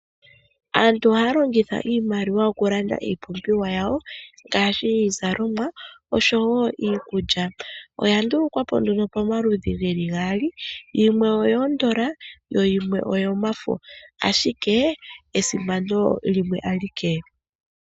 Aantu ohaya longitha iimaliwa oku landa iipumbiwa yawo ngaashi iizalomwa oshowo iikulya. Oya ndulukwapo nduno pamaludhi geli gaali. Yimwe iikukutu yimwe oyomafo. Ashike esimano limwe alike.